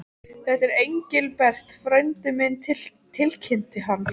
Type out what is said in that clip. Þetta er Engilbert frændi minn tilkynnti hann.